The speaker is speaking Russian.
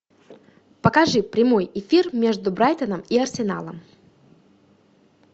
покажи прямой эфир между брайтоном и арсеналом